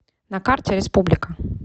на карте республика